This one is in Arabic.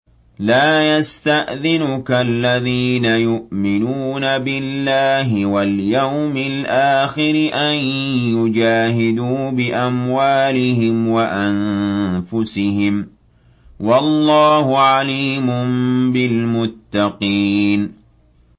لَا يَسْتَأْذِنُكَ الَّذِينَ يُؤْمِنُونَ بِاللَّهِ وَالْيَوْمِ الْآخِرِ أَن يُجَاهِدُوا بِأَمْوَالِهِمْ وَأَنفُسِهِمْ ۗ وَاللَّهُ عَلِيمٌ بِالْمُتَّقِينَ